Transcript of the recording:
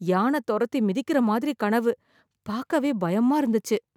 யானை தொரத்தி மிதிக்கிற மாதிரி கனவு ,பாக்கவே பயமா இருந்துச்சு